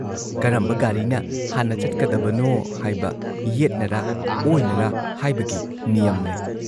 ꯀꯔꯝꯕ ꯒꯥꯔꯤꯅ ꯍꯥꯟꯅ ꯆꯠꯀꯗꯕꯅꯣ ꯍꯥꯏꯕ, ꯌꯦꯠꯅꯔꯥ ꯑꯣꯏꯅꯔꯥ ꯍꯥꯏꯕꯒꯤ ꯅꯤꯌꯝ ꯂꯩ ꯫